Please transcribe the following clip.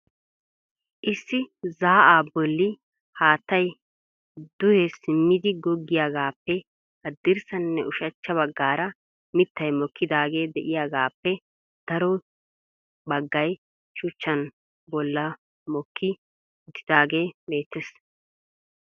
Issi zaa'a bolli haattay duhe simmidi goggiyaagappe haddirssanne ushachcha baggaara mittay mokidaage de'iyaagappe daro baggay shuchchan bollan mokki uttidaage beettees.